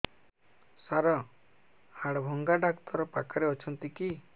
ସାର ହାଡଭଙ୍ଗା ଡକ୍ଟର ପାଖରେ ଅଛନ୍ତି କି